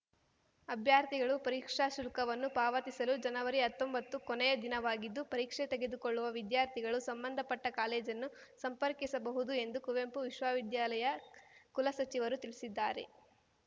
ಅಭ್ಯರ್ಥಿಗಳು ಪರೀಕ್ಷಾ ಶುಲ್ಕವನ್ನು ಪಾವತಿಸಲು ಜನವರಿಹತ್ತೊಂಬತ್ತು ಕೊನೆಯ ದಿನವಾಗಿದ್ದು ಪರೀಕ್ಷೆ ತೆಗೆದುಕೊಳ್ಳುವ ವಿದ್ಯಾರ್ಥಿಗಳು ಸಂಬಂಧಪಟ್ಟಕಾಲೇಜನ್ನು ಸಂಪರ್ಕಿಸಬಹುದು ಎಂದು ಕುವೆಂಪು ವಿಶ್ವವಿದ್ಯಾಲಯ ಕುಲಸಚಿವರು ತಿಳಿಸಿದ್ದಾರೆ